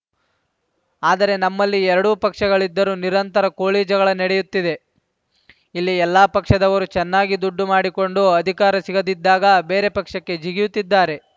ಆದರೆ ನಮ್ಮಲ್ಲಿ ಎರಡು ಪಕ್ಷಗಳಿದ್ದರೂ ನಿರಂತರ ಕೋಳಿಜಗಳ ನಡೆಯುತ್ತಿದೆ ಇಲ್ಲಿ ಎಲ್ಲ ಪಕ್ಷದವರೂ ಚೆನ್ನಾಗಿ ದುಡ್ಡು ಮಾಡಿಕೊಂಡು ಅಧಿಕಾರ ಸಿಗದಿದ್ದಾಗ ಬೇರೆ ಪಕ್ಷಕ್ಕೆ ಜಿಗಿಯುತ್ತಿದ್ದಾರೆ